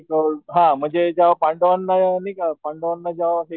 अ हा म्हणजे जेव्हा पांडवांना नाही का पांडवांना जेव्हा हे